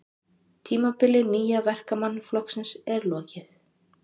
Tímabili Nýja Verkamannaflokksins er lokið